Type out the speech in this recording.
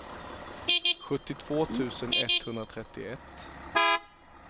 sjuttiotvå tusen etthundratrettioett